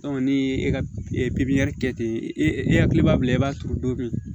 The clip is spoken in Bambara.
ni e ka pipiniyɛri kɛ ten e hakili b'a la i b'a turu don min